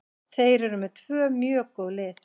Þeir eru með tvö mjög góð lið.